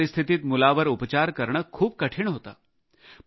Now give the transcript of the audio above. अशा परिस्थितीत मुलावर उपचार करणे खूप कठीण होते